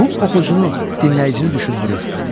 Bu oxucunu dinləyicini düşündürür.